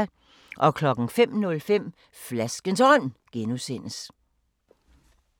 05:05: Flaskens Ånd (G)